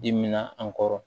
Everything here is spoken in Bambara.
Dimina an kɔrɔ